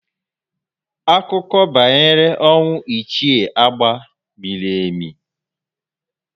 Akụkọ banyere ọnwụ Ichie Agba miri emi